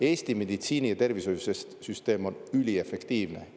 Eesti meditsiini- ja tervishoiusüsteem on üliefektiivne.